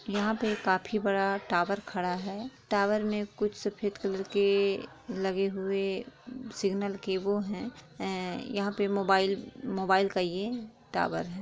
यहाँ पे काफी बड़ा टावर खड़ा है टावर में कुछ सफ़ेद कलर के लगे हुए सिगनल के वो हैं यहाँ पे मोबाइल मोबाइल का ये टावर हैं।